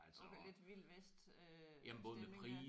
Okay lidt vild vest øh stemning der